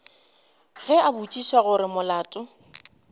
ge a botšiša gore molato